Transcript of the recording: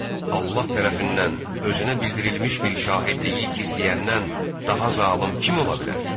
Allah tərəfindən özünə bildirilmiş bir şahidliyi gizləyəndən daha zalım kim ola bilər?